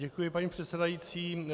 Děkuji, paní předsedající.